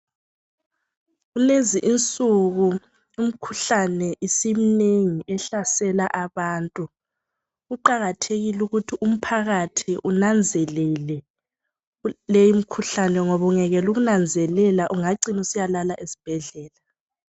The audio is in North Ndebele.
Kulezi insuku umkhuhlane isiminengi ehlasela abantu. Kuqakathekile ukuthi umphakathi unanzelele leyi imkhuhlane ngoba ungayekela ukunanzelela ungacina usiyalala esibhedlela.